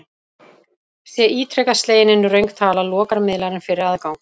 Sé ítrekað slegin inn röng tala, lokar miðlarinn fyrir aðgang.